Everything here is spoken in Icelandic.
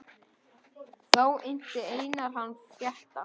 Þá innti Einar hann frétta.